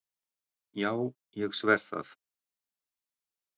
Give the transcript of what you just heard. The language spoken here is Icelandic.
Já ég sver það!